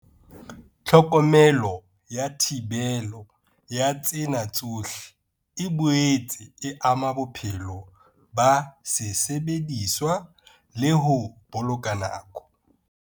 Tlhokomelo ya thibelo ya tsena tsohle e boetse e ama bophelo ba sesebediswa le ho boloka nako.